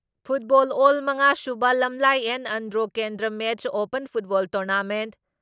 football ꯑꯦꯜ ꯃꯉꯥ ꯁꯨꯕ ꯂꯝꯂꯥꯏ ꯑꯦꯟ ꯑꯟꯗ꯭ꯔꯣ ꯀꯦꯟꯗ꯭ꯔ ꯃꯦꯟꯁ ꯑꯣꯄꯟ ꯐꯨꯠꯕꯣꯜ ꯇꯣꯔꯅꯥꯃꯦꯟꯠ